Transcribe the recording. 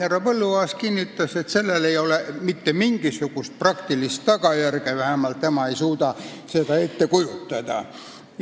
Härra Põlluaas kinnitas, et sellel ei oleks mitte mingisugust praktilist tagajärge, vähemalt tema ei suuda seda ette kujutada.